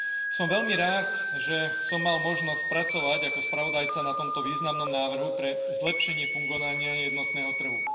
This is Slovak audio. Som veľmi rád, že som mal možnosť pracovať ako spravodajca na tomto významnom návrhu pre zlepšenie fungovania jednotného trhu.